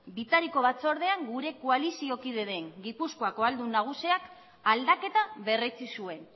bitariko batzordean gure koalizio kide den gipuzkoako aldun nagusiak aldaketa berretsi zuen